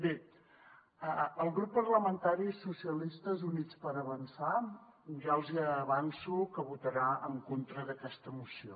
bé el grup parlamentari socialistes i units per avançar ja els hi avanço que votarà en contra d’aquesta moció